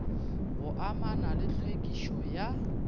go amana le tlhwekišo ya